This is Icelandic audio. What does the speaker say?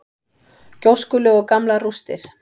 Gjóskulög og gamlar rústir.